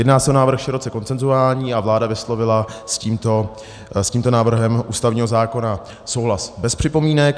Jedná se o návrh široce konsenzuální a vláda vyslovila s tímto návrhem ústavního zákona souhlas bez připomínek.